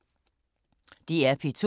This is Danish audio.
DR P2